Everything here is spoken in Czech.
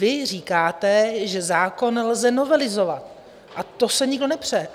Vy říkáte, že zákon lze novelizovat, o to se nikdo nepře.